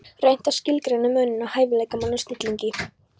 Reynt að skilgreina muninn á hæfileikamanni og snillingi.